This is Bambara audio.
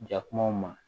Jakumaw ma